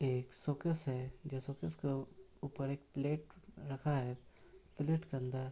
यह एक शोकेस है जो शोकेस के ऊपर एक प्लेट रखा है प्लेट के अंदर --